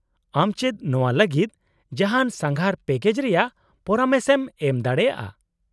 -ᱟᱢ ᱪᱮᱫ ᱱᱚᱶᱟ ᱞᱟᱹᱜᱤᱫ ᱡᱟᱦᱟᱱ ᱥᱟᱸᱜᱷᱟᱨ ᱯᱮᱠᱮᱡ ᱨᱮᱭᱟᱜ ᱯᱚᱨᱟᱢᱮᱥ ᱮᱢ ᱮᱢᱫᱟᱲᱮᱭᱟᱜᱼᱟ ?